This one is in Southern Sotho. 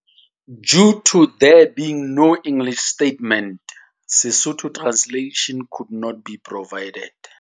Due to there being no English statement Sesotho translation could not be provided.